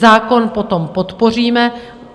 Zákon potom podpoříme.